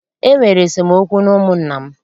E nwere esemookwu n'ụmụnna m